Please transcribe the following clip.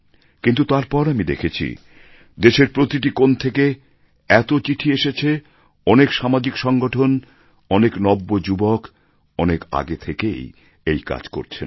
কিন্তু তারপর আমি দেখেছি যে দেশের প্রতিটি কোণ থেকে এত চিঠি এসেছে অনেক সামাজিক সংগঠন অনেক নব্যযুবক অনেক আগে থেকেই এই কাজ করছেন